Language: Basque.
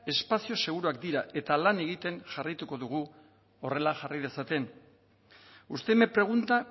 espazio seguruak dira eta lan egiten jarraituko dugu horrela jarrai dezaten usted me pregunta